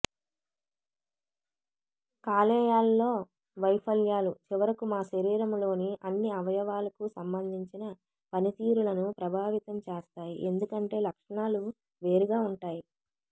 కాలేయాలలో వైఫల్యాలు చివరకు మా శరీరంలోని అన్ని అవయవాలకు సంబంధించిన పనితీరులను ప్రభావితం చేస్తాయి ఎందుకంటే లక్షణాలు వేరుగా ఉంటాయి